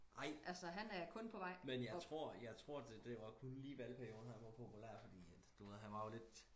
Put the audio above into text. ej men jeg tror jeg tror det var kun lige i valgperioden han var populær fordi at du ved han var jo lidt